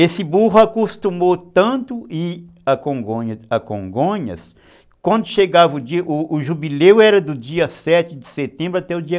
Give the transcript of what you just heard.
Esse burro acostumou tanto a ir a Congonhas, Congonhas quando chegava o dia, o jubileu era do dia sete de setembro